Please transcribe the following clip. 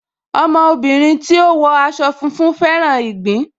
Ọmọ obìnrin tí ó wọ aṣọ funfun fẹ́ràn ìgbín